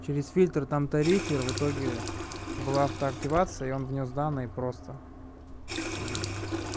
через фильтр там тарифер в итоге была автоактивация и он внёс данные просто